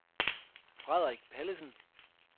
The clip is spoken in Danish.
Frederik Pallesen